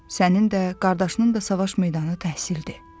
Sənin də, qardaşının da savaş meydanı təhsildir.